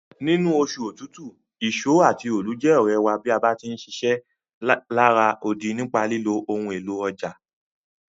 Nínú osù otútù, ìso àti óólù je òrẹ̀ wa bá ti ń ṣiṣẹ́ lará odi nípa lílo ohun élò ọjà.